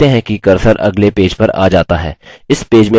आप देखते हैं कि cursor अगले पेज पर आ जाता है